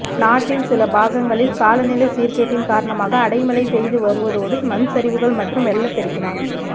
நாட்டில் சில பாகங்களில் காலநிலை சீர்கேட்டின் காரணமாக அடைமழை பெய்து வருவதோடு மண்சரிவுகள் மற்றும் வெள்ளப்பெருக்கினால்